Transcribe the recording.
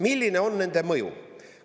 Milline on nende mõju?